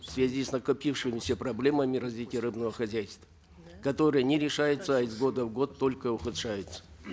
в связи с накопившимися проблемами развития рыбного хозяйства которые не решаются из года в год только ухудшаются